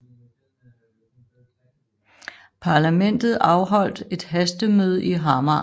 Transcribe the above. Parlamentet afholdt et hastemøde i Hamar